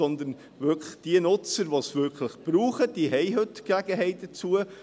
Denn diejenigen Nutzer, die es wirklich brauchen, haben heute Gelegenheit dazu;